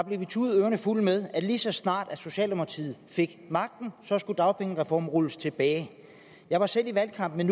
blev vi tudet ørerne fulde med at lige så snart socialdemokratiet fik magten skulle dagpengereformen rulles tilbage jeg var selv i valgkamp med